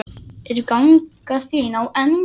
Er ganga þín á enda?